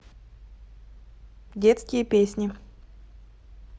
детские песни